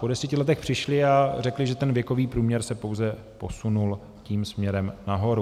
Po deseti letech přišli a řekli, že ten věkový průměr se pouze posunul tím směrem nahoru.